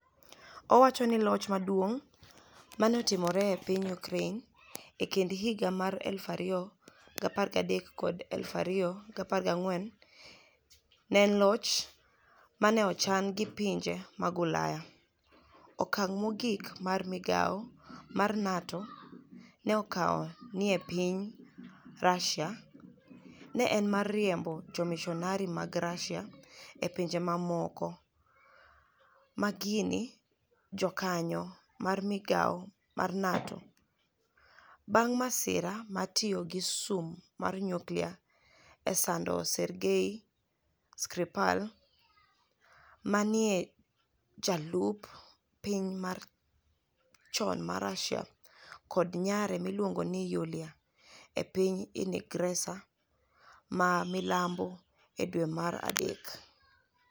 Owacho nii Loch maduonig ' ma ni e otimore e piniy Ukraini e e kinid higa mar 2013 kod 2014 ni e eni loch ma ni e ochani gi pinije mag Ulaya. Okanig ' mogik ma migao mar niATO ni e okawo ni e piniy Russia ni e eni mar riembo jomisoniari mag Russia e pinije mamoko ma gini jokaniyo mar migao mar niATO, banig ' masira mar tiyo gi sum mar niyuklia e sanido Sergei Skripal, ma ni e eni jalup piniy Russia choni, kod niyare miluonigo nii Yulia, e piniy Inigresa ma milambo e dwe mar Mach.